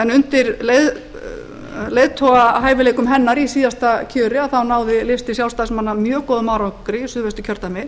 en undir leiðtogahæfileikum hennar í síðasta kjöri náði listi sjálfstæðismanna mjög góðum árangri í suðvesturkjördæmi